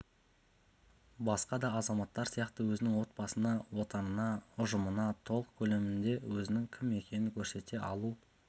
басқа да азаматтар сияқты өзінің отбасына отанына ұжымына толық көлемде өзінің кім екенін көрсете алу